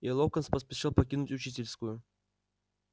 и локонс поспешил покинуть учительскую